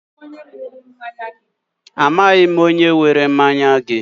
Amaghị m onye were mmanya gị.